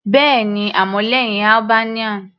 Bẹ́ẹ̀ni, àmọ́ lẹ́hìn Albanian.